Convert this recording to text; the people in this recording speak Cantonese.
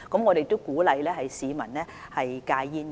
我們亦鼓勵市民戒煙。